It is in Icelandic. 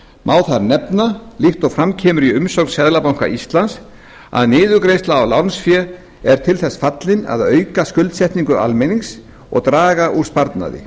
má þar nefna líkt og fram kemur í umsögn seðlabanka íslands að niðurgreiðsla á lánsfé er til þess fallin að auka skuldsetningu almennings og draga úr sparnaði